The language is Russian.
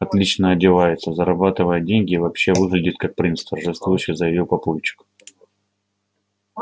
отлично одевается зарабатывает деньги и вообще выглядит как принц торжествующе заявил папульчик